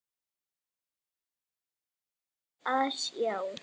Yfir sig hress að sjá hann eftir allan þennan tíma í útlegðinni.